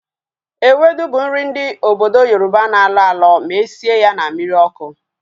Ewedu bụ nri ndị obodo Yoroba na-alọ alọ ma esie ya na mmiri ọkụ